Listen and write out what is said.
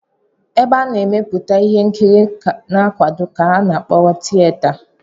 Ebe a na-emepụta ihe nkiri na nkwago ka a kpọrọ tiyeta